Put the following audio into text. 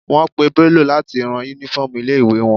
Wọ́n pè Bello láti rán uniform ilé ìwé wọn.